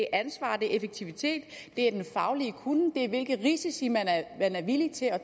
ansvar det er effektivitet det er den faglige kunnen det er hvilke risici man er villig til at